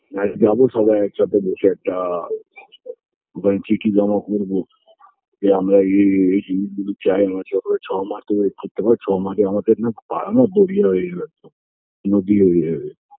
যাই যাবো সবাই একসাথে বসে একটা ওখানে চিঠি জমা করবো যে আমরা এই এই এই এই জিনিসগুলো চাই ছমাস wait করতে হবে ছমাসে আমাদের না পাড়া না যাবে নদী হয়ে যাবে